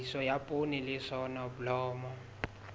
tlhahiso ya poone le soneblomo